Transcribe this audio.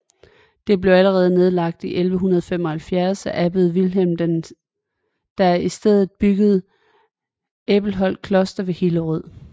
Det blev allerede nedlagt i 1175 af abbed Vilhelm der i stedet byggede Æbelholt Kloster ved Hillerød